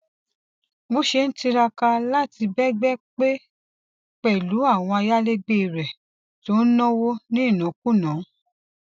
bó ṣe ń tiraka láti bẹgbẹ pé pẹlú àwọn ayálegbè rè tó ń náwó ní ìnákúnàá